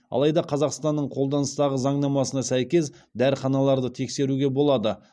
алайда қазақстанның қолданыстағы заңнамасына сәйкес дәріханаларды тексеруге болады